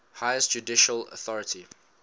highest judicial authority